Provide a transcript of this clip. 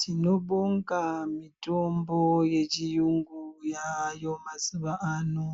Tinobonga mitombo yechiyungu yayo mazuwa ano